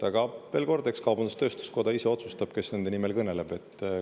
Aga veel kord: eks kaubandus-tööstuskoda ise otsustab, kes nende nimel kõneleb.